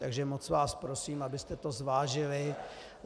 Takže moc vás prosím, abyste to zvážili.